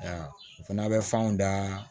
Aa o fana bɛ fanw da